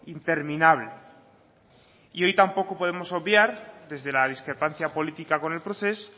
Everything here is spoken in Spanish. interminable y hoy tampoco podemos obviar desde la discrepancia política con el procés